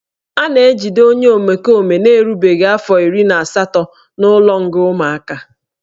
A na-ejide onye omekome na-erubeghị afọ iri na asatọ n'ụlọnga ụmụaka